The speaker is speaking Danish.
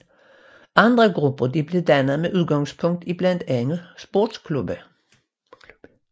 Andre grupper blev dannet med udgangspunkt i blandt andet sportsklubber